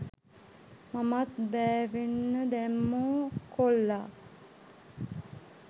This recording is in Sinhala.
මමත් බෑවෙන්න දැම්මෝ කොල්ලා